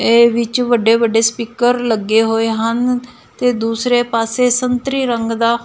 ਇਹ ਵਿੱਚ ਵੱਡੇ ਵੱਡੇ ਸਪੀਕਰ ਲੱਗੇ ਹੋਏ ਹਨ ਤੇ ਦੂਸਰੇ ਪਾਸੇ ਸੰਤਰੀ ਰੰਗ ਦਾ--